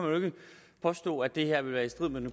påstå at det her vil være i strid med den